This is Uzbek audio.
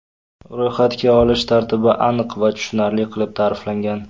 Ro‘yxatga olish tartibi aniq va tushunarli qilib ta’riflangan.